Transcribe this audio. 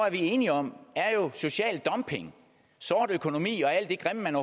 er enige om social dumping sort økonomi og alt det grimme man